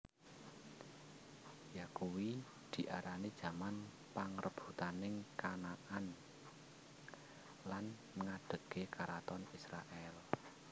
Yakuwi diarani jaman pangrebutaning Kanaan lan ngadhegé karaton Israèl